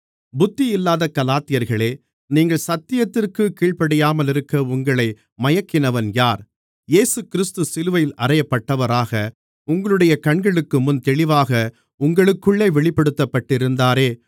புத்தியில்லாத கலாத்தியர்களே நீங்கள் சத்தியத்திற்குக் கீழ்ப்படியாமலிருக்க உங்களை மயக்கினவன் யார் இயேசுகிறிஸ்து சிலுவையில் அறையப்பட்டவராக உங்களுடைய கண்களுக்குமுன் தெளிவாக உங்களுக்குள்ளே வெளிப்படுத்தப்பட்டிருந்தாரே